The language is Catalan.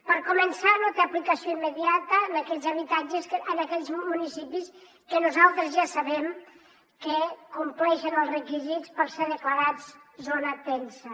per començar no té aplicació immediata en aquells municipis que nosaltres ja sabem que compleixen els requisits per ser declarats zona tensa